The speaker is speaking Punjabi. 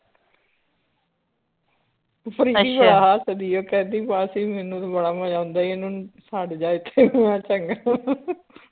ਹੱਸਦੀ ਆ ਕਹਿੰਦੀ ਮਾਸੀ ਮੈਨੂੰ ਤਾਂ ਬੜਾ ਮਜਾ ਆਉਂਦਾ ਈ ਇਹਨੂੰ ਛੱਡ ਜਾ ਇਥੇ ਹੀ ਮੈ ਕਾ ਚੰਗਾ